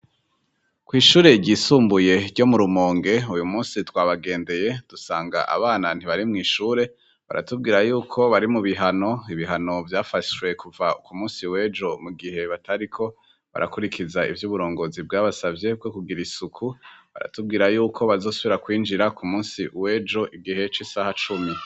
Kw'ishure ryisumbuye ryo mu rumonge uyu musi twabagendeye dusanga abana ntibarimwo'ishure baratubwira yuko bari mu bihano ibihano vyafashwe kuva ku musi wejo mu gihe batariko barakurikiza ivyo uburongozi bwabasavye bwo kugira isuku baratubwira yuko bazosubira kwinjira ku musi we jo igihe c'isaha cumi.